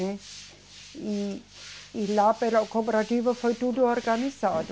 E, e, e lá pela cooperativa foi tudo organizado.